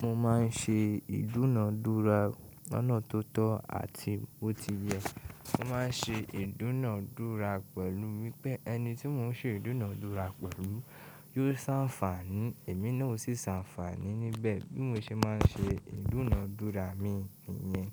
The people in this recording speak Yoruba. Mo ma n ṣe ìdúnadúrà lọnà tó tọ́ àti bo ti yẹ. Mo ma n ṣe ìdúnadúrà pẹ̀lú wípé ẹni tí mo n ṣe ìdúnadúrà pẹ̀lú yóò sanfàní, èmi náà ó sì sanfàní níbẹ̀. Bí mo ṣe ma n ṣe ìdúnadúrà mi nìyẹn.